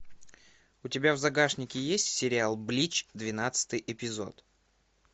у тебя в загашнике есть сериал блич двенадцатый эпизод